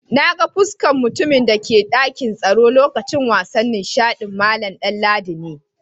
Na gan fuskan mutumin da ke dakin tsoro lokacin wasan nishadin, Mallam Danladi ne.